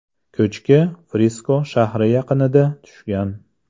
Ko‘chki Frisko shahri yaqinida tushgan.